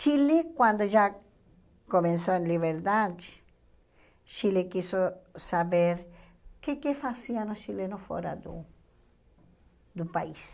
Chile, quando já começou a liberdade, Chile quis so saber o que que faziam os chilenos fora do do país.